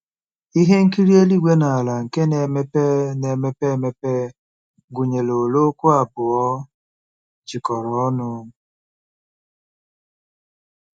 Ihe nkiri eluigwe na ala nke na-emepe na-emepe emepe gụnyere olee okwu abụọ jikọrọ ọnụ?